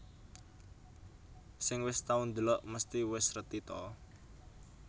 Sing wis tau ndelok mesti wis reti ta